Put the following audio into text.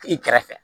I kɛrɛfɛ